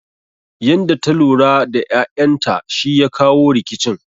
Yanda ta lura da ƴaƴan ta shi ya kawo rikicin